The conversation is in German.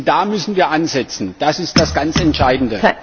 Da müssen wir ansetzen, das ist das ganz Entscheidende.